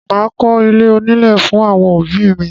Máa kọ́ ilé onílè fún àwọn òbí mi.